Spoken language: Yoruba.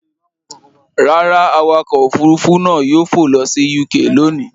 Rárá, awakọ̀ òfurufú náà yóò fò lọ sí UK lónìí.